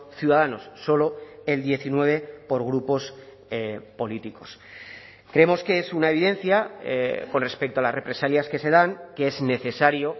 ciudadanos solo el diecinueve por grupos políticos creemos que es una evidencia con respecto a las represalias que se dan que es necesario